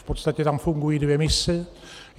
V podstatě tam fungují dvě mise.